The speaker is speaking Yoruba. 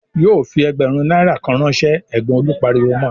"Yóò fi ẹgbẹ̀rún náírà kan ránṣẹ́!" Ẹ̀gbọ́n Olú pariwo mọ.